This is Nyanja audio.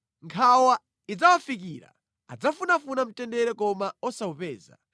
Nkhawa ikadzawafikira adzafunafuna mtendere koma osawupeza.